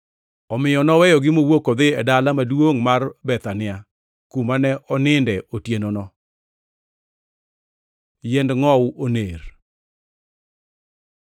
Omiyo noweyogi, mowuok odhi e dala maduongʼ mar Bethania, kuma ne oninde otienono. Yiend ngʼowu oner